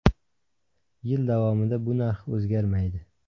Yil davomida bu narx o‘zgarmaydi.